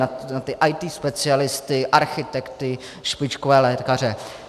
Na ty IT specialisty, architekty, špičkové lékaře.